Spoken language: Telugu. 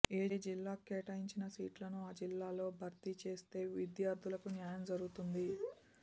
ఏ జిల్లాకు కేటాయించిన సీట్లను ఆ జిల్లాలో భర్తీ చేస్తే విద్యార్థులకు న్యాయం జరుగుతుంది